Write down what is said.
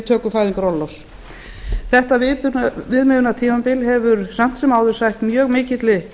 töku fæðingarorlofs þetta viðmiðunartímabil hefur samt sem áður sætt mjög mikilli